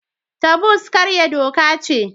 Taboos karya doka ce.